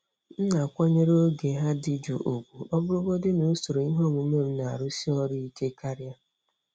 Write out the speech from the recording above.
M na-akwanyere oge ha dị jụụ ùgwù, ọ bụrụgodị na usoro ihe omume m na-arụsi ọrụ ike karị.